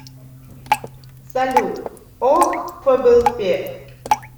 салют ох фблпе